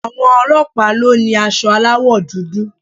Àwọn ọlọ́pàá ló ni aṣọ aláwò dúdú